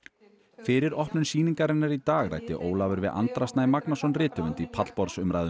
fyrir opnun sýningarinnar í dag ræddi Ólafur við Andra Snæ Magnason rithöfund í pallborðsumræðum